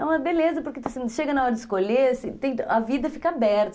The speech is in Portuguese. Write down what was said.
É uma beleza, porque chega na hora de escolher, a vida fica aberta.